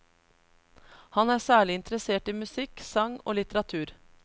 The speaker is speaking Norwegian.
Han er særlig interessert i musikk, sang og litteratur.